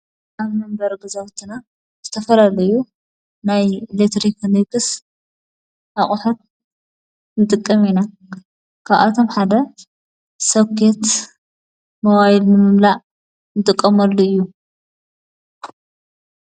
ብ መንበር ገዛውትና ዝተፈለሉእዩ ናይ ልትሪኽ ንክስ ኣቝሐት እንጥቀሜኢና ክኣቶም ሓደ ሰውከት መዋይድ ምምምላእ እንጥቐመሉ እዩ።